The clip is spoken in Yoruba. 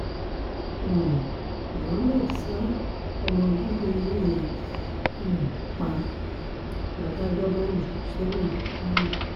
um mohammed ṣa ọmọ bíbí inú rẹ̀ um pa ládájọ́ bá jù ú sẹ́wọ̀n ní kwara